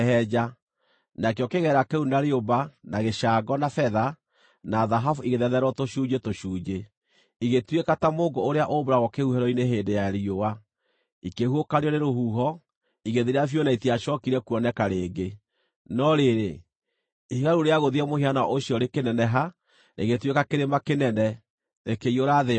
Nakĩo kĩgera kĩu, na rĩũmba, na gĩcango, na betha, na thahabu igĩthetherwo tũcunjĩ tũcunjĩ, igĩtuĩka ta mũũngũ ũrĩa ũmbũragwo kĩhuhĩro-inĩ hĩndĩ ya riũa. Ikĩhuhũkanio nĩ rũhuho, igĩthira biũ na itiacookire kuoneka rĩngĩ. No rĩrĩ, ihiga rĩu rĩagũthire mũhianano ũcio rĩkĩneneha, rĩgĩtuĩka kĩrĩma kĩnene, rĩkĩiyũra thĩ yothe.